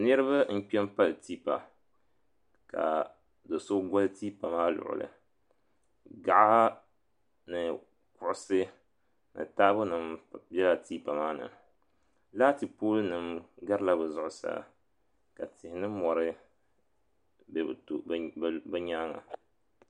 Niriba n kpɛmpali tipa ka do'so goli tipa maa luɣuli gaɣa ni kuɣusi ni taabo nima bela tipa maa ni laati pooli nima garila bɛ zuɣusaa ka tihi ni mori be bɛ nyaanga.